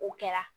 O kɛra